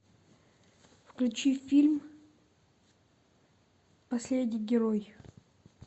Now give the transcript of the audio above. включи фильм последний герой